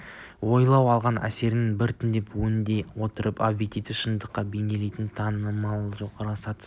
ойлау алған әсерлерді біртіндеп өңдей отырып объективті шындықты бейнелейтін танымның жоғары сатысы